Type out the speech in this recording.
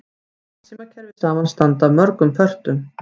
Farsímakerfi samanstanda af mörgum pörtum.